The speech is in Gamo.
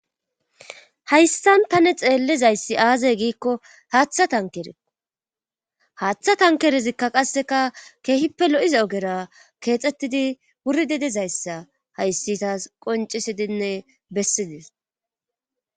hayssan tane xeellizayssi aazay giikko haaththa tankerekko haaththa tankerezikka qasseka keehippe lo7iza ogera keexxettidi wuri dedezayssa hayssi taas qoncisidinne bessides